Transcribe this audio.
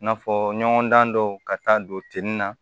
I n'a fɔ ɲɔgɔndan dɔw ka taa don tin na